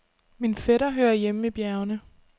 Min fætter hører hjemme i bjergene.